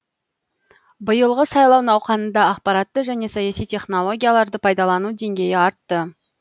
биылғы сайлау науқанында ақпаратты және саяси технологияларды пайдалану деңгейі артты